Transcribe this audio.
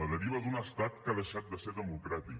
la deriva d’un estat que ha deixat de ser democràtic